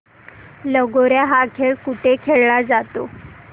लगोर्या हा खेळ कुठे खेळला जातो